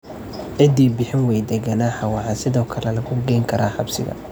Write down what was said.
Cidii bixin wayda ganaaxa waxa sidoo kale lagu geyn karaa xabsiga.